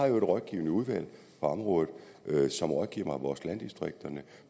jo et rådgivende udvalg på området som rådgiver mig om vores landdistrikter